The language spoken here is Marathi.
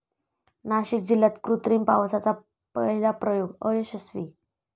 नाशिक जिल्ह्यात कृत्रिम पावसाचा पहिला प्रयोग अयशस्वी